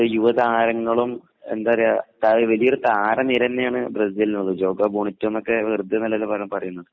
യുവതാരങ്ങളും എന്താ പറയാ വലിയൊരു താരനിരതന്നെയാണ് ബ്രസീലിനുള്ളത്